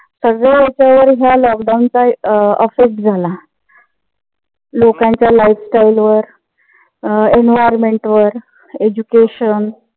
सगळे एकेक झालं lockdown चा affect झाला. लोकांच्या life style वर अं environment वर education